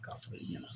K'a fɔ e ɲɛna